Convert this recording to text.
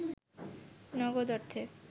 নগদ অর্থে